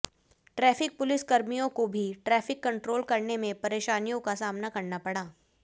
traffic police कर्मियों को भी ट्रैफिक कंट्रोल करने में परेशानियों का सामना करना पड़ा